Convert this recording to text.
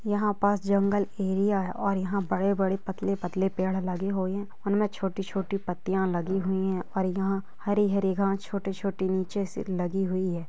यहा पास जंगल एरिया है और यहा बड़े-बड़े पतले-पतले पेड लगे हुवे है उनमे छोटी-छोटी पत्तिया लगी हुई है और यहा हरे-हरे घास छोटे-छोटे नीचे से लगी हुई हैं।